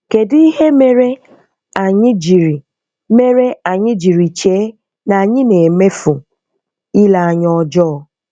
KEDỤ IHE MERE ANYỊ JIRI MERE ANYỊ JIRI CHEE NA ANYỊ NA-EMEFU? ILE ANYA ỌJỌỌ.